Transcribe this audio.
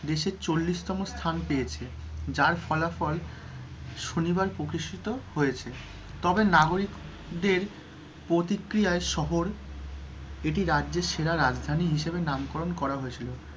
দেশের চল্লিশতম স্থান পেয়েছে, যার ফলাফল শনিবার প্রকাশিত হয়েছে। তবে নাগরিকদের প্রতিক্রিয়ায় শহর, এটি রাজ্যের সেরা রাজধানী হিসাবে নামকরণ করা হয়েছিল,